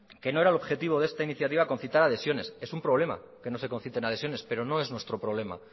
que no era objetivo de esta iniciativa concitar adhesión es un problema que no se conciten adhesiones pero no es nuestro problema